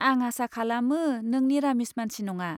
आं आसा खालामो नों निरामिस मानसि नङा।